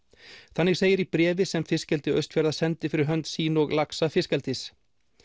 þannig segir í bréfi sem fiskeldi Austfjarða sendi fyrir hönd sín og laxa fiskeldis